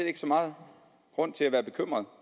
ikke så megen grund til at være bekymret